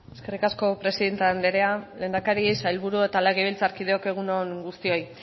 eskerrik asko presidente andrea lehendakari sailburu eta legebiltzarkideok egun on guztioi